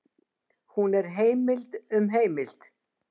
Hún er heimild um heimild.